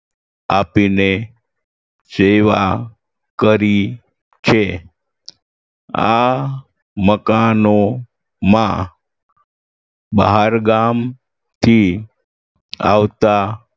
આપીને સેવા કરી છે આ મકાનોમાં બહારગામથી આવતા